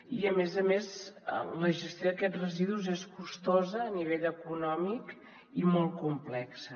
i a més a més la gestió d’aquests residus és costosa a nivell econòmic i molt complexa